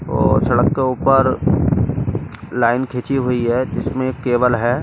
और सड़क के ऊपर लाइन खींची हुई है जिसमें एक केबल है।